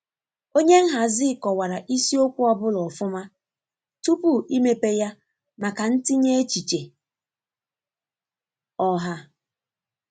Onye nhazi kọwara isiokwu ọ bụla ọfuma tupu imepe ya maka ntinye echiche ọha.